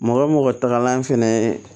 Mɔgɔ mɔgɔ tagalan fɛnɛ ye